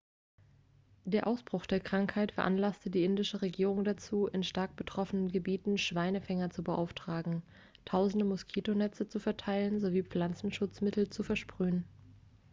der ausbruch der krankheit veranlasste die indische regierung dazu in stark betroffenen gebieten schweinefänger zu beauftragen tausende moskitonetze zu verteilen sowie pflanzenschutzmittel zu versprühen